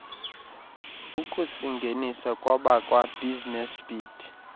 ukusingenisa kwabakwabusiness beat